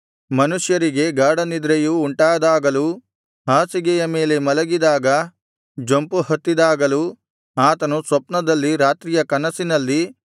ಮನುಷ್ಯರಿಗೆ ಗಾಢನಿದ್ರೆಯು ಉಂಟಾದಾಗಲೂ ಹಾಸಿಗೆಯ ಮೇಲೆ ಮಲಗಿದಾಗ ಜೊಂಪುಹತ್ತಿದಾಗಲೂ ಆತನು ಸ್ವಪ್ನದಲ್ಲಿ ರಾತ್ರಿಯ ಕನಸಿನಲ್ಲಿ